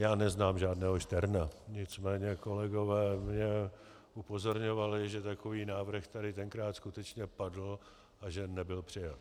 Já neznám žádného Šterna, nicméně kolegové mě upozorňovali, že takový návrh tady tenkrát skutečně padl a že nebyl přijat.